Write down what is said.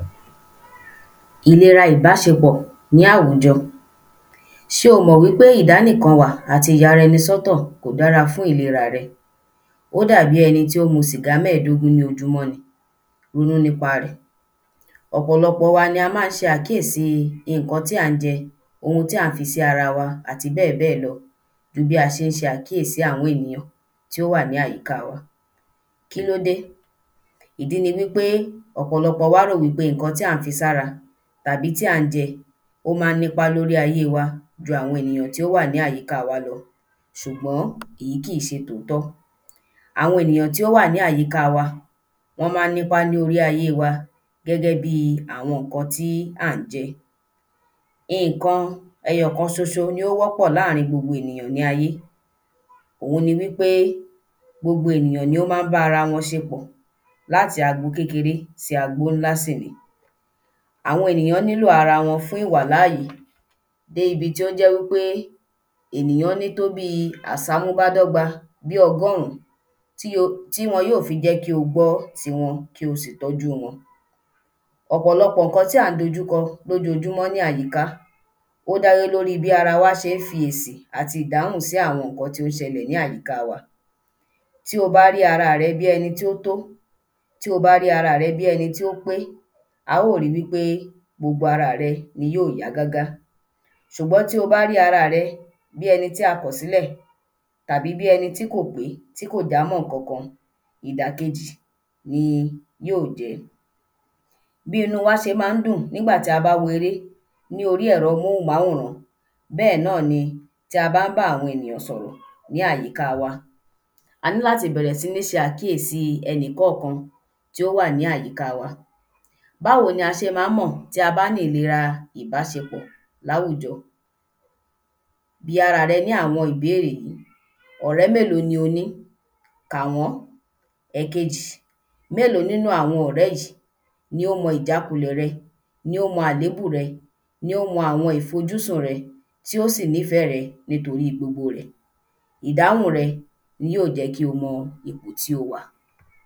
Ìlera ìbáṣepọ̀ ní àwùjọ Ṣé o mọ̀ wí pé ìdánìkan wà àti ìyara ẹni s’ọ́tọ̀ kò dára fún ìlera rẹ? Ó dàbí ẹni tí ó ń mu sìgá mẹ́ẹ̀dógún ni ojúmọ́ ní Ronú n'ípa rẹ̀. Ọ̀pọlọpọ̀ wa ni a má ń ṣe àkíèsí ìnkan tí a má ń jẹ, ohun tí à ń fi sí ara wa àti bẹ́ẹ̀ bẹ́ẹ̀ lọ ju bí a ṣé ń ṣe àkíèsí àwọn enìyàn tí ó wà ní àyíká wa. Kílóde? Ìdí ni wí pé ọ̀pọlọpọ̀ wa rò wí pé ìnkan tí à ń fi s’ára tàbí tí à ń jẹ ó má ń n’ípa l’órí ayé wa ju àwọn enìyàn tí ó wà ní àyíká wa lọ. ṣùgbọ́n ìyí kìí ṣe tòótọ́. Àwọn enìyàn tí ó wà ní àyíká wa wọ́n má ń n’ípa l’órí ayé wa gẹ́gẹ́ bi àwọn ǹkan tí à ń jẹ. In-ìnkan ẹyọ kan ní ó wọ́pọ̀ láàrin gbogbo èyàn ní ayé òun ni wí pé gbogbo ènìyàn ni ó má ń bá ara wọn ṣe pọ̀ l’áti ago kékeré sí ago ńlá sì ni. Àwọn enìyàn wọ́n nílò ara wọn fún ìwàláyé dé ibí tí ó jẹ́ wí pé enìyàn ní tó bí i àsámú bá dọ́gba bí ọgọ́rún tí wọn yóò fí jẹ́ kí o gbọ́ ti wọn kí o sì tọ́jú wọn Ọ̀pọlọpọ̀ ǹkan tí à ń dójúko l’ójojúmọ́ ní àyíká Ó dá lé l’órí bí ara ṣé ń fi èsì àti ìdáhùn sí àwọn ǹkan tí ó ṣelẹ̀ ní àyíká wa. Tí o bá ri ara rẹ bí ẹni t’ó to, Tí o bá ri ara rẹ bí ẹni t’ó pé, a ó ri wí pé gbogbo ara rẹ ni yó yá gágá Ṣùgbiọ́n tí o bá rí ara rẹ bí ẹni tí a kọ̀ s'ílẹ̀ tàbí bí ẹni tí kò pé tí kò jámọ́ ǹkankan, ìdàkejì ni yóò jẹ́. Bí inú wa ṣe má ń dùn n’ígbà í a bá wo eré ní orí ẹ̀rọ móhùnmáwòrán Bẹ́ẹ̀ náa` ni tí a bá ń bá àwọn enìyàn sọ̀rọ̀ ní àyíká a ní bẹ̀rẹ̀ sí ní se àkíèsí ẹnìkọ́ọ̀kan tí ó wà ní àyíká wa Báwo ni a ṣe má ń mọ̀ tí a bá ní ìlera ìbáṣepọ̀ ní àwùjọ̀? Bi ara rẹ ní àwọn ìbéèrè. Ọ̀rẹ́ mélòó ni o ní? Kà wọ́n. Ẹkejì, mélòó n'ínú àwọn ọ̀rẹ́ yìí nì ó mọ ìjákulẹ̀ rẹ, ní ó mọ àlébù rẹ, ní ó mọ àwọn ìfojúsùn rẹ, tí ó sì n'ífẹ́ rẹ n'ítorí gbogbo rẹ̀? Ìdáhùn rẹ ni yí ó jẹ́ kí o mọ ipọ̀ tí o wà.